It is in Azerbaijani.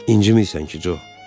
İncimirsən ki, Co?